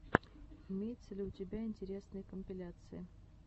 имеется ли у тебя интересные компиляции